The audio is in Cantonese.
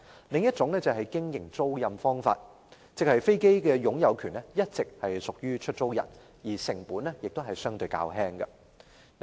另一種是經營租賃，即飛機擁有權一直屬於出租人，經營成本相對較輕。